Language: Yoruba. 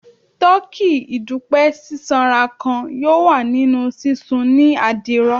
Tọki idupẹ sisanra kan yoo wa ni sisun ni adiro